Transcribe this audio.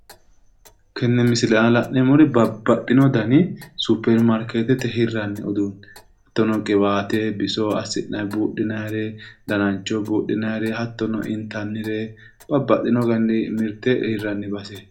Tenne misile aana la'neemmori babbaxxino dani suppermaarkeetete hirranni uduunne hattono qiwaate bisoho ass'nay buurayre, danancho buudhinayre, hattono intannire babbaxxino garinni mirte hirranni baseeti.